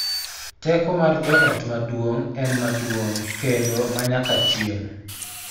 Teko mar joot maduong� en maduong� kendo ma nyaka chieng�,